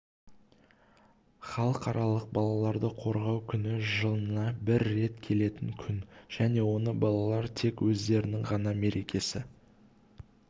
халықаралық балаларды қорғау күні жылына бір рет келетін күн және оны балалар тек өздерінің ғана мерекесі